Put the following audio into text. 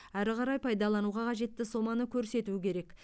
әрі қарай пайдалануға қажетті соманы көрсету керек